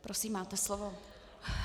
Prosím, máte slovo.